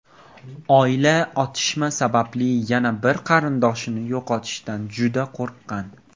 Oila otishma sababli yana bir qarindoshini yo‘qotishdan juda qo‘rqqan.